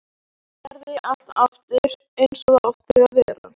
Gerði allt aftur eins og það átti að vera.